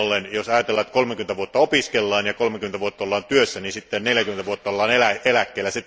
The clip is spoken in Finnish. Jos ajatellaan, että 30 vuotta opiskellaan ja 30 vuotta ollaan työssä, niin sitten 40 vuotta ollaan eläkkeellä.